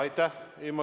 Aitäh!